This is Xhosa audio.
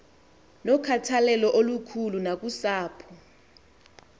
nokhathalelo olukhulu nakusapho